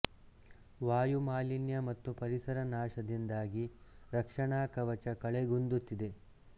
ವಾಯು ಮಾಲಿನ್ಯ ಮತ್ತು ಪರಿಸರ ನಾಶದಿಂದಾಗಿ ರಕ್ಷಣಾ ಕವಚ ಕಳೆಗುಂದುತ್ತಿದೆ